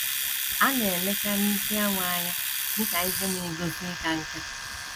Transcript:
A na - elekarị isi awọ anya dị ka ihe na - egosi ịka nká.